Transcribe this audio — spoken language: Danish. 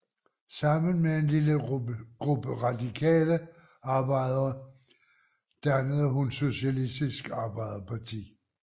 Sammen med en lille gruppe radikale arbejdere dannede hun Socialistisk Arbejderparti